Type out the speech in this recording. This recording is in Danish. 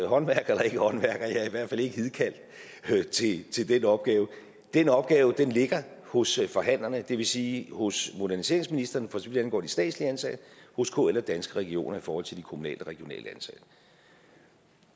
håndværker eller ikke håndværker jeg er i hvert fald ikke hidkaldt til den opgave den opgave ligger hos forhandlerne det vil sige hos moderniseringsministeren for så vidt angår de statslige ansatte hos kl og danske regioner i forhold til de kommunalt og regionalt ansatte